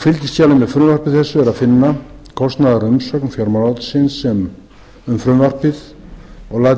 fylgiskjali með frumvarpi þessu er að finna kostnaðarumsögn fjármálaráðuneytisins um frumvarpið og